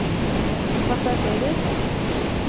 passasjerer